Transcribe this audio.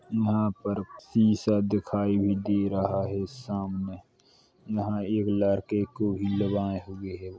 यहाँ पर शीशा दिखाई भी दे रहा है सामने यहाँ एक लड़के को --